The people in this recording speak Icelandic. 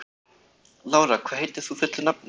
Lára, hvað heitir þú fullu nafni?